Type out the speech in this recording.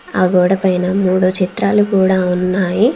ఆ గోడ పైన మూడు చిత్రాలు కూడా ఉన్నాయి.